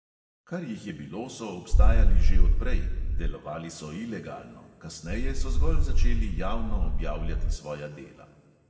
Kar jih je bilo, so obstajali že od prej, delovali so ilegalno, kasneje so zgolj začeli javno objavljati svoja dela.